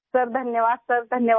sir धन्यवाद sir धन्यवाद